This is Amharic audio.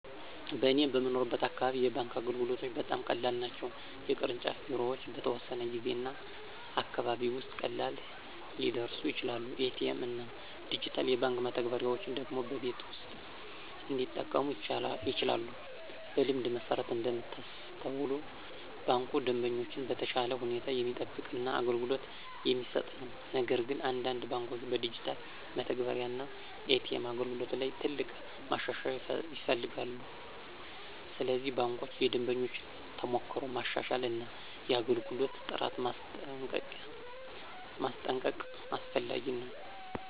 በእኔ የምኖርበት አካባቢ የባንክ አገልግሎቶች በጣም ቀላል ናቸው። የቅርንጫፍ ቢሮዎች በተወሰነ ጊዜ እና አካባቢ ውስጥ ቀላል ሊደርሱ ይችላሉ። ኤ.ቲ.ኤም እና ዲጂታል የባንክ መተግበሪያዎች ደግሞ በቤት ውስጥ እንዲጠቀሙ ይቻላሉ። በልምድ መሠረት እንደምታስተውሉ ባንኩ ደንበኞችን በተሻለ ሁኔታ የሚጠብቅ እና አገልግሎት የሚሰጥ ነው። ነገር ግን አንዳንድ ባንኮች በዲጂታል መተግበሪያ እና ኤ.ቲ.ኤም አገልግሎት ላይ ትልቅ ማሻሻያ ይፈልጋሉ። ስለዚህ ባንኮች የደንበኞችን ተሞክሮ ማሻሻል እና የአገልግሎት ጥራት ማስጠንቀቅ አስፈላጊ ነው።